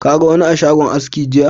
Ka ga wani a shagon aski jiya?